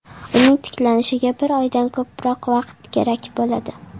Uning tiklanishiga bir oydan ko‘proq vaqt kerak bo‘ladi.